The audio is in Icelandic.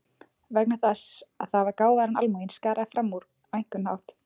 Vegna þess að það var gáfaðra en almúginn, skaraði fram úr á einhvern hátt.